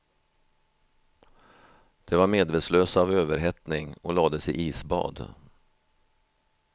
De var medvetslösa av överhettning och lades i isbad.